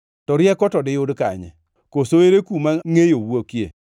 “To rieko to diyud kanye? Koso ere kuma ngʼeyo wuokie?